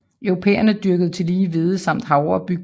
Europæerne dyrkede tillige hvede samt havre og byg